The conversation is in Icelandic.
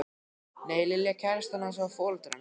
Nei, Lilja kærastan hans og foreldrar hennar.